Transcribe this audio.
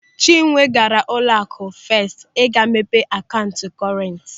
Chinwe gaara n'ụlọaku Fest ịga mepe akaụntụ kọrent.